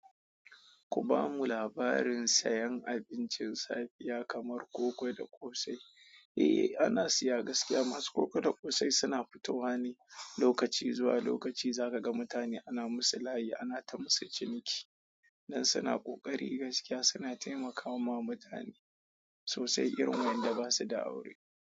Ku bamu labarin sayan abincin safiya kamar koko da ƙosai. Eh, ana siya gaskiya masu koko da ƙosai suna fitowa ne lokaci zuwa lokaci. Zaka ga mutane ana musu layi ana ta musu ciniki. Nan suna ƙoƙari gaskiya suna taimakawa mutane sosai, irin wanda basu da aure.